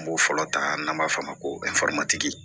N b'o fɔlɔ ta n'an b'a f'o ma ko